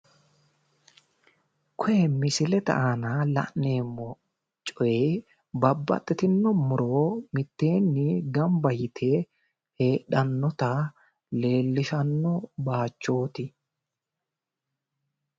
koye misilete aana la'neemmo coyi babbaxxitino muro mitteeni gamba yite heedhannota leellishanno bayichooti